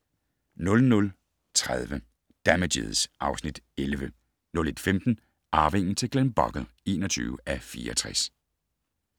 00:30: Damages (Afs. 11) 01:15: Arvingen til Glenbogle (21:64)